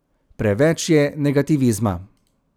Preveč je negativizma.